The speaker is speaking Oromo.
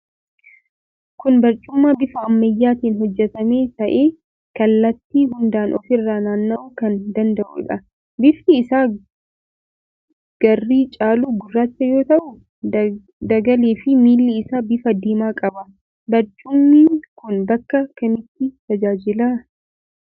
Kun barcuma bifa ammayyaatiin hojjetame ta'ee kallattii hundaan ofirra naanna'uu kan danda'uudha. Bifti isaa garri caalu gurraacha yoo ta'u, dagaleefi miilli isaa bifa diimaa qaba. Barcumni kun bakka kamitti tajaajila?